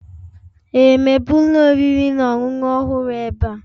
Ee, mepee ụlọ oriri na ọṅụṅụ ọhụrụ ebe a.